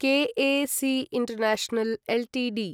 क् A C International Ltd